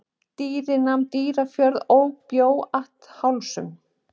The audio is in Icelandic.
Dýri nam Dýrafjörð ok bjó at Hálsum.